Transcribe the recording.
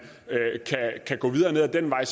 gå videre ned ad den vej